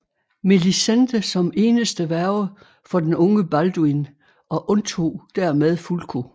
Melisende som eneste værge for den unge Balduin og undtog dermed Fulko